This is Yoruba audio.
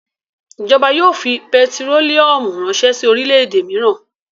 Ìjọba yóò fi pẹtírólíúmù ránṣẹ́ sí orílẹ̀-èdè mìíràn.